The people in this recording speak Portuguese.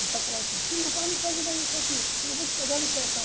Meu pai falava assim, você não vai me fazer mais isso aqui, se não vou te pegar no pé e tal.